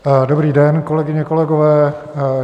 Dobrý den, kolegyně, kolegové.